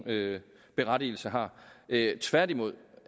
berettigelse har tværtimod